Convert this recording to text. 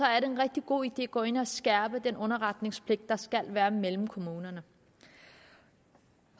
er det en rigtig god idé at gå ind og skærpe den underretningspligt der skal være mellem kommunerne